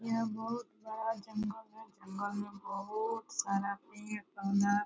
यह बहुत बड़ा जंगल है जंगल में बहुत सारा पेड़ पौधा --